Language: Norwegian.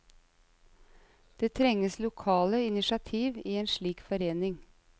Det trenges lokale initiativ i en slik forening.